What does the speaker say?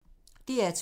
DR2